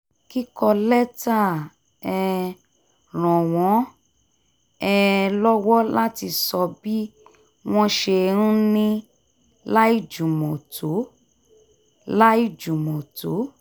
kíkọ lẹ́tà um ràn wọ́n um lọ́wọ́ láti sọ bí wọ́n ṣe ń ní láìjùmọ̀ tó láìjùmọ̀ tó